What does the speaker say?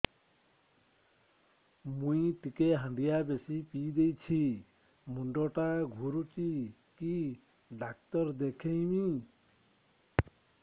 ମୁଇ ଟିକେ ହାଣ୍ଡିଆ ବେଶି ପିଇ ଦେଇଛି ମୁଣ୍ଡ ଟା ଘୁରୁଚି କି ଡାକ୍ତର ଦେଖେଇମି